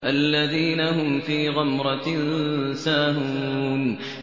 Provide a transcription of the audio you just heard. الَّذِينَ هُمْ فِي غَمْرَةٍ سَاهُونَ